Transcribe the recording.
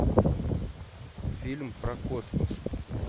фильм про космос